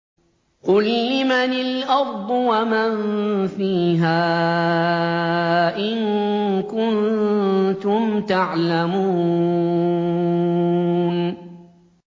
قُل لِّمَنِ الْأَرْضُ وَمَن فِيهَا إِن كُنتُمْ تَعْلَمُونَ